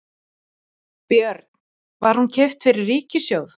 Björn: Var hún keypt fyrir ríkissjóð?